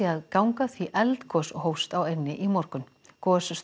að ganga því eldgos hófst á eynni í morgun